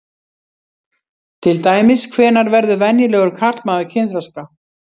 Til dæmis: Hvenær verður venjulegur karlmaður kynþroska?